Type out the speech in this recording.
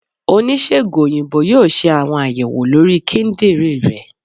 onisegùn oyinbo yóò se awọn ayèwó lorí kíndìnrín ré